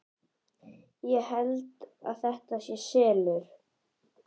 Ég held að þetta sé SELUR!